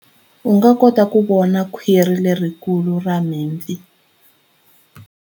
U nga kota ku vona khwiri lerikulu ra mipfi.